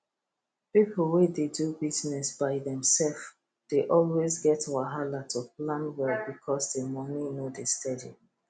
people wey dey do business by themself dey always get wahala to plan well because the money no dey steady